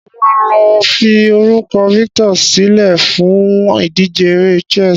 Mo máa lo fi orúkọ Victor silẹ́ fún ìdíje eré chess